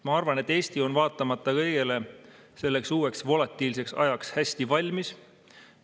Ma arvan, et Eesti on vaatamata kõigele selleks uueks volatiilseks ajaks hästi valmis.